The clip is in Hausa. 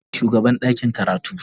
Wanene shugaban ɗakin karatu?